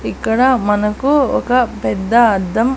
ఇక్కడ మనకు ఒక పెద్ద అద్దం--